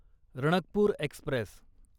Ranakpur Express